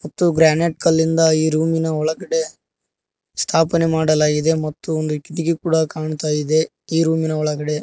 ಮತ್ತು ಗ್ರಾನೆಟ್ ಕಲ್ಲಿಂದ ಈ ರೂಮ್ ಇನ ಒಳಗಡೆ ಸ್ಥಾಪನೆ ಮಾಡಲಾಗಿದೆ ಮತ್ತು ಒಂದು ಕಿಟಕಿ ಕೂಡ ಕಾಣ್ತಾ ಇದೆ ಈ ರೂಮ್ ಇನ ಒಳಗಡೆ.